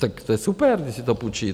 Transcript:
Tak to je super, když si to půjčí.